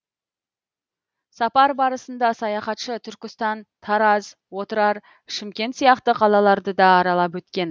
сапар барысында саяхатшы түркістан тараз отырар шымкент сияқты қалаларды да аралап өткен